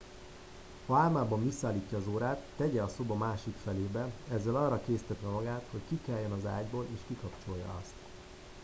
ha álmában visszaállítja az órát tegye a szoba másik felébe ezzel arra késztetve magát hogy kikeljen az ágyból és kikapcsolja azt